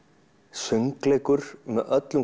söngleikur með öllum